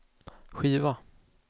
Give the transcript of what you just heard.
skiva